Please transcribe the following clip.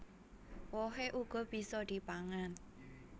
Wohé uga bisa dipangan